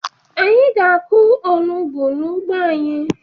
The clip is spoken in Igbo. Anyị ga-akụ onugbu n'ugbo anyị.